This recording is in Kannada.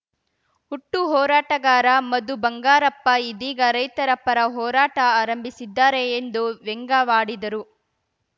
ಹುಟ್ಟು ಹೋರಾಟಗಾರ ಮಧು ಬಂಗಾರಪ್ಪ ಇದೀಗ ರೈತರ ಪರ ಹೋರಾಟ ಆರಂಭಿಸಿದ್ದಾರೆ ಎಂದು ವ್ಯಂಗ್ಯವಾಡಿದರು